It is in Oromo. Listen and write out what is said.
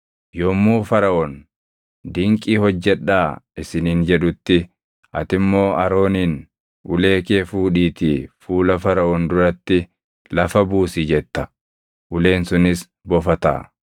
“Yommuu Faraʼoon, ‘Dinqii hojjedhaa’ isiniin jedhutti, ati immoo Arooniin, ‘Ulee kee fuudhiitii fuula Faraʼoon duratti lafa buusi’ jetta; uleen sunis bofa taʼa.”